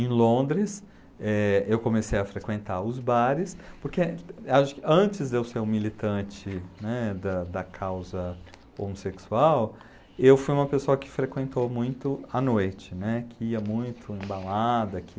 Em Londres, eh, eu comecei a frequentar os bares, porque, acho que antes de eu ser um militante, né, da da causa homossexual, eu fui uma pessoa que frequentou muito à noite, né, que ia muito em balada, que...